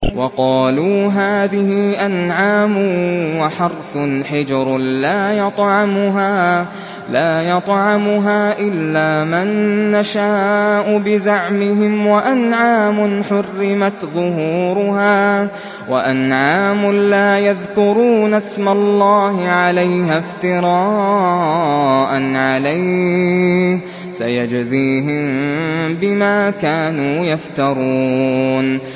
وَقَالُوا هَٰذِهِ أَنْعَامٌ وَحَرْثٌ حِجْرٌ لَّا يَطْعَمُهَا إِلَّا مَن نَّشَاءُ بِزَعْمِهِمْ وَأَنْعَامٌ حُرِّمَتْ ظُهُورُهَا وَأَنْعَامٌ لَّا يَذْكُرُونَ اسْمَ اللَّهِ عَلَيْهَا افْتِرَاءً عَلَيْهِ ۚ سَيَجْزِيهِم بِمَا كَانُوا يَفْتَرُونَ